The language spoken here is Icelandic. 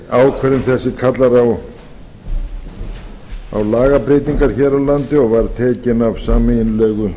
ákvæði þetta kallar á lagabreytingar hér á landi og var tekin af sameiginlegu